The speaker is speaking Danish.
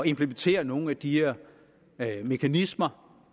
implementere nogle af de her mekanismer